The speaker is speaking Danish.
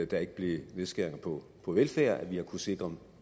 der ikke blev nedskæringer på på velfærd at vi har kunnet sikre